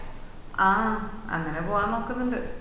ആഹ് അങ്ങനെ പോവാന് നോക്കുന്നുണ്ട്‌